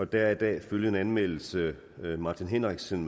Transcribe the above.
der er i dag følgende anmeldelse martin henriksen